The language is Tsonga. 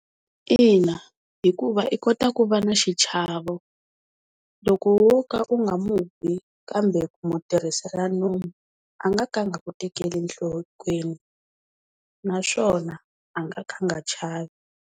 Ina hikuva i kota ku va na xichavo loko wo ka u nga mu bi kambe ku mu tirhisela nomu a nga ka a nga ku tekeli enhlokweni naswona a nga ka a nga chavi.